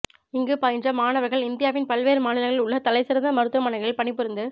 இங்கு பயின்ற மாணவர்கள் இந்தியாவின் பல்வேறு மாநிலங்களில் உள்ள தலைசிறந்த மருத்துவமனைகளில் பணிபுரிந்து